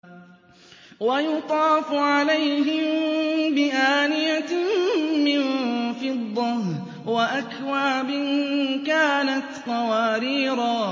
وَيُطَافُ عَلَيْهِم بِآنِيَةٍ مِّن فِضَّةٍ وَأَكْوَابٍ كَانَتْ قَوَارِيرَا